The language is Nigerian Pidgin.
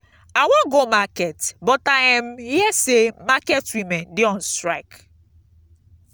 i wan go market but i um hear say market women dey on strike.